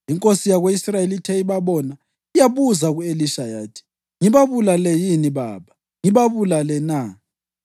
Inkosi yako-Israyeli ithe ibabona, yabuza ku-Elisha yathi, “Ngibabulale yini, baba? Ngibabulale na?”